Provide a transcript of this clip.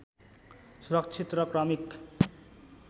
सुरक्षित र क्रमिक